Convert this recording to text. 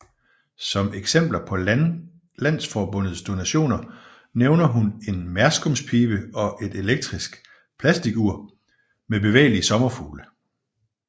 Som eksempler på landsforbundets donationer nævner hun en merskumspibe og et elektrisk plasticur med bevægelige sommerfugle